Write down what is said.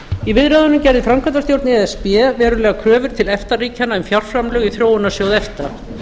í viðræðunum gerði framkvæmdastjórn e s b verulegar kröfur til efta ríkjanna um fjárframlög í þróunarsjóðs efta